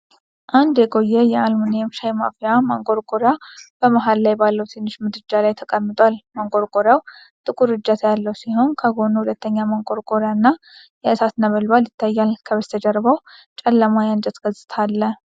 አንድ የቆየ የአሉሚኒየም ሻይ ማፍያ ማንቆርቆሪያ በመሃል ላይ ባለው ትንሽ ምድጃ ላይ ተቀምጧል። ማንቆርቆሪያው ጥቁር እጀታ ያለው ሲሆን ከጎኑ ሁለተኛ ማንቆርቆሪያ እና የእሳት ነበልባል ይታያል። ከበስተጀርባው ጨለማ የእንጨት ገጽታ አለ።